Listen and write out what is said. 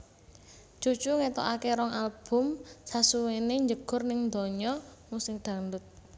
Cucu ngetokake rong album sasuwené njegur ning donya musik dangdut